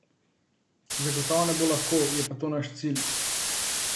Zagotovo ne bo lahko, je pa to naš cilj.